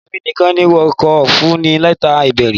Èmi nìkan ni wọn kò fún ní lẹ́tà ìbéèrè.